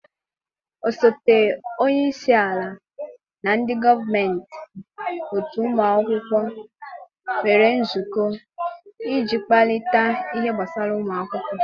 osote onye isi ala na ndị gọọmentị otu ụmụ akwụkwọ nwere nzukọ, iji kparịta ihe gbasara ụmụ akwụkwọ